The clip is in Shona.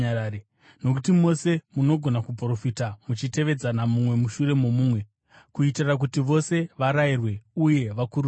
Nokuti mose munogona kuprofita muchitevedzana mumwe mushure momumwe, kuitira kuti vose varayirwe uye vakurudzirwe.